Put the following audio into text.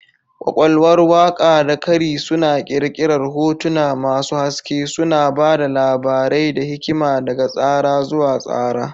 Ƙwaƙwalwar waƙa da kari suna ƙirƙirar hotuna masu haske, suna ba da labarai da hikima daga tsara zuwa tsara.